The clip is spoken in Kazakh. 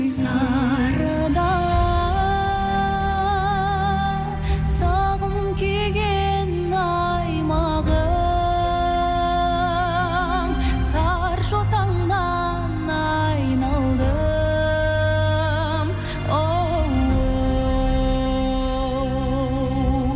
сары дала сағым күйген аймағым сары жотаңнан айналдым оу